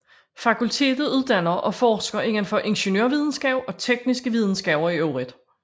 Fakultetet uddanner og forsker indenfor ingeniørvidenskab og tekniske videnskaber i øvrigt